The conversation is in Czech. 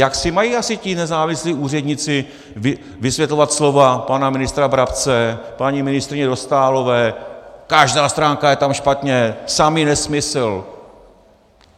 Jak si mají asi ti nezávislí úředníci vysvětlovat slova pana ministra Brabce, paní ministryně Dostálové - každá stránka je tam špatně, samý nesmysl.